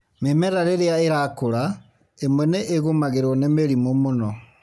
Mĩmera rĩrĩa ĩrakũra, ĩmwe nĩ ĩgũmagĩrwo nĩ mĩrĩmũ mũno.